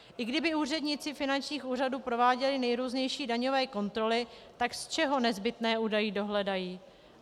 I kdyby úředníci finančních úřadů prováděli nejrůznější daňové kontroly, tak z čeho nezbytné údaje dohledají?